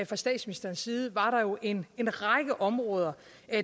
fra statsministerens side var der jo en en række områder